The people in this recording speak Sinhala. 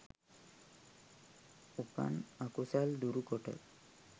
උපන් අකුසල් දුරු කොට